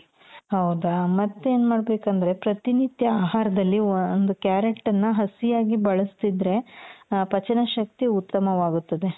ಹೌದಾ ಮತ್ತೇನ್ ಮಾಡ್ಬೇಕಂದ್ರೆ ಪ್ರತಿನಿತ್ಯ ಆಹಾರದಲ್ಲಿ ಒಂದು carrot ಅನ್ನ ಹಸಿಯಾಗಿ ಬಳಸ್ತಿದ್ರೆ ಆ ಪಚನ ಶಕ್ತಿ ಉತ್ತಮವಾಗುತ್ತದೆ .